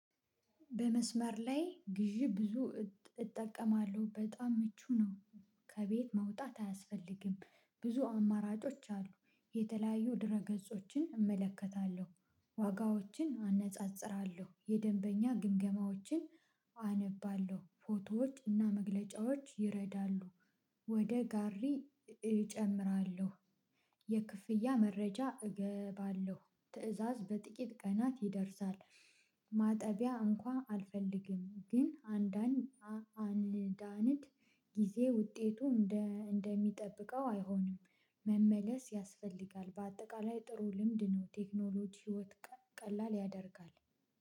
በመስመር ላይ ግዢ ብዙ እጠቀማለሁ በጣም ምቹ ነው። ከቤት መውጣት አያስፈልግም፤ ብዙ አማራጮች አሉ፤ የተለያዩ ድረ ገጾችን እመለከታለሁ፤ ዋጋዎችን አነጻጽራለሁ፤ የደንበኛ ግምገማዎችን አነባለሁ፤ ፎቶዎች እና መግለጫዎች ይረዳሉ፤ ወደ ጋሪ እጨምራለሁ የክፍያ መረጃ እገባለሁ፤ ትእዛዝ በጥቂት ቀናት ይደርሳል ማጠቢያ እንኳን አልፈልግም ግን አንዳን አንዳንድ ጊዜ ውጤቱ እንደ እንደሚጠብቀው አይሆንም መመለስ ያስፈልጋል በአጠቃላይ ጥሩ ልምድ ነው። ቴክኖሎጂ ህይወት ቀላል ያደርጋል።